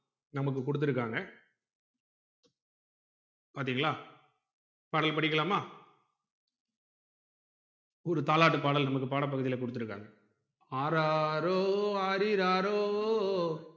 நமக்கு குடுத்துருக்காங்க பாத்தீங்களா பாடல் படிக்கலாமா ஒரு தாலாட்டு பாடல் நமக்கு பாட பகுதில குடுத்து இருக்காங்க ஆராரோ ஆரிராரோ